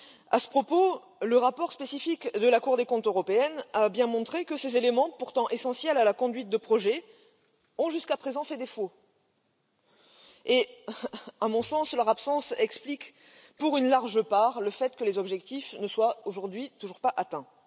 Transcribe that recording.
À ce propos, le rapport spécifique de la Cour des comptes européenne a bien montré que ces éléments, pourtant essentiels à la conduite de projets, ont jusqu'à présent fait défaut et à mon sens, leur absence explique pour une large part le fait que les objectifs ne soient aujourd'hui toujours pas atteints.